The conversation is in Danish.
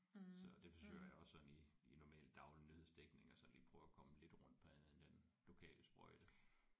Så det forsøger jeg også sådan i i normal daglig nyhedsdækning at sådan lige prøve at komme lidt rundt på andet end den lokale sprøjte